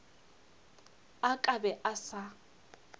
a ka be a sa